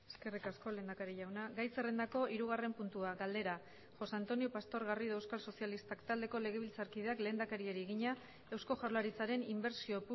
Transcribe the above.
eskerrik asko lehendakari jauna gai zerrendako hirugarren puntua galdera josé antonio pastor garrido euskal sozialistak taldeko legebiltzarkideak lehendakariari egina eusko jaurlaritzaren inbertsio